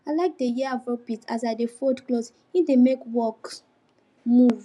i like dey hear afrobeat as i dey fold cloth e dey make work move